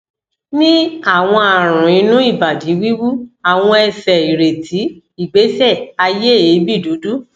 ni awon aarun inu ibadi wiwu awon ese ireti igbese aye eebi dudu